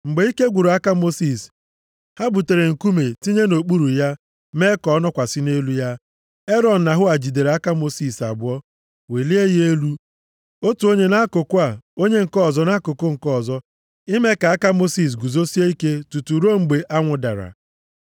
Mgbe ike gwụrụ aka Mosis, ha butere nkume tinye nʼokpuru ya mee ka ọ nọkwasị nʼelu ya. Erọn na Hua jidere aka Mosis abụọ welie ya elu, otu onye nʼakụkụ a, onye nke ọzọ nʼakụkụ nke ọzọ. Ime ka aka Mosis guzosie ike tutu ruo mgbe anwụ dara.